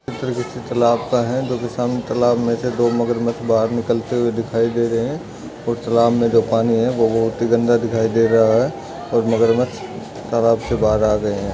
चित्र किसी तलाब का है जोकि सामने तलाब मे से दो मगर मच्छ बाहर निकलते हुए दिखाई दे रहे है और तलाब मे जो पानी है वो भुत ही गंदा दिखाई दे रहा है और मगर मच्छ तालाब से बाहर आ गये है।